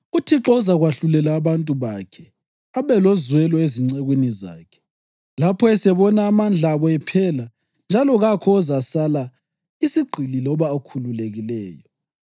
UThixo uzakwahlulela abantu bakhe, abe lozwelo ezincekwini zakhe lapho esebona amandla abo ephela njalo kakho ozasala, isigqili loba okhululekileyo.